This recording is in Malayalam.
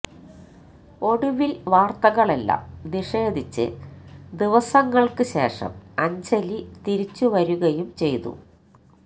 ഒടുവില് വാര്ത്തകളെല്ലാം നിഷേധിച്ച് ദിവസങ്ങള്ക്ക് ശേഷം അഞ്ജലി തിരിച്ചുവരികയും ചെയ്തു